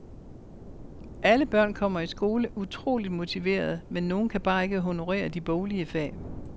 Alle børn kommer i skole utroligt motiverede, men nogen kan bare ikke honorere de boglige fag.